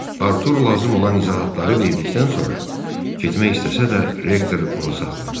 Artur lazım olan izahatları verdikdən sonra getmək istəsə də rektor onu saxladı.